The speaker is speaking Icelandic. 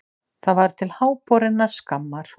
Það var til háborinnar skammar.